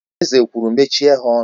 Eze kwuru, Mechie ha ọnụ!